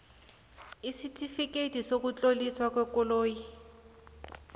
isitifikhethi sokutloliswa kwekoloyi